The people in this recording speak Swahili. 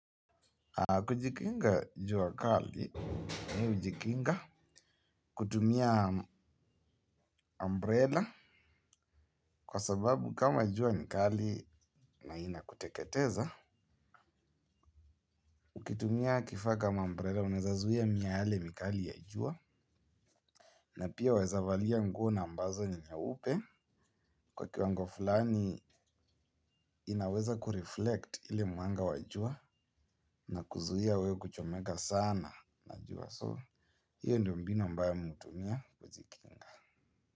Kujikinga jua kali, mi ujikinga, kutumia umbrella, kwa sababu kama jua ni kali na ina kuteketeza. Kutumia kifaa kama umbrela, unaezazuia miale mikali ya jua, na pia wezavalia nguo na ambazo ni nyeupe. Kwa kiwango fulani, inaweza kureflect ile mwanga wa jua, na kuzuia we kuchomeka sana na jua so. Hio ndio mbinu ambayo mi hutumia kujikinga.